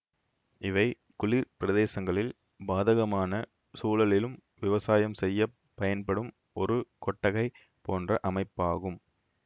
இவை குளிர் பிரதேசங்களில் பாதகமான சூழலிலும் விவசாயம் செய்ய பயன்படும் ஒரு கொட்டகை போன்ற அமைப்பாகும்